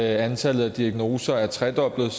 antallet af diagnoser er tredoblet